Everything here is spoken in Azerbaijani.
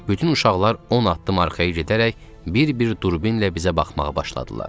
Bütün uşaqlar 10 addım arxaya gedərək bir-bir durbinlə bizə baxmağa başladılar.